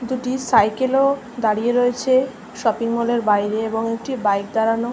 দুটো সাইকেল -ও দাঁড়িয়ে রয়েছে শপিং মলের বাইরে এবং একটি বাইক দাঁড়ানো।